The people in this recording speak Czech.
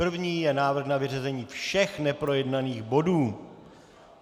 První je návrh na vyřazení všech neprojednaných bodů.